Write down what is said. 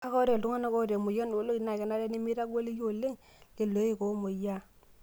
Kake, ore iltung'ana oota emoyian ooloik naa kenare nemeitagoliki oleng' lelo oik oomoyiaaa.